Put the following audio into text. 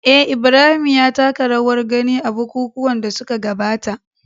eh, Ibrahim ya taka rawar gani a bukukuwan da suka gabata